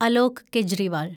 Alok Kejriwal